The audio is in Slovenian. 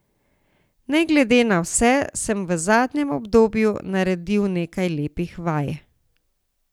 Ne glede na vse, sem v zadnjem obdobju naredil nekaj lepih vaj.